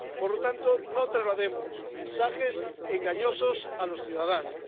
Por lo tanto, no traslademos mensajes engañosos a los ciudadanos.